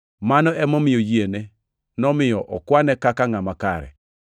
Mano emomiyo yiene “nomiyo okwane kaka ngʼama kare.” + 4:22 \+xt Chak 15:6\+xt*